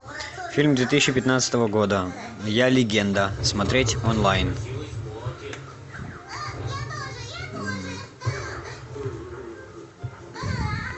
фильм две тысячи пятнадцатого года я легенда смотреть онлайн